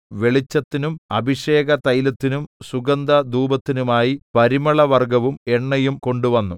വെളിച്ചത്തിനും അഭിഷേകതൈലത്തിനും സുഗന്ധധൂപത്തിനുമായി പരിമളവർഗ്ഗവും എണ്ണയും കൊണ്ട് വന്നു